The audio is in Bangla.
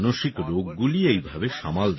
মানসিক রোগগুলি এইভাবেই সামাল দেওয়া হয়